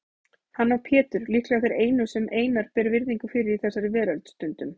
Hann og Pétur líklega þeir einu sem Einar ber virðingu fyrir í þessari veröld, stundum